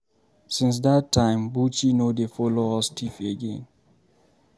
Since dat time, Buchi no dey follow us thief again.